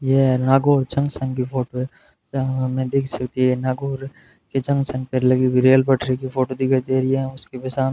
यह नागौर जंक्शन की फोटो है जहां हम देख सकते हैं नागौर के जंक्शन पे लगी हुई रेल पटरी की फोटो दिखाई दे रही है और सुबह शाम --